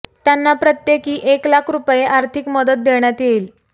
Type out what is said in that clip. त्यांना प्रत्येकी एक लाख रूपये आर्थिक मदत देण्यात येईल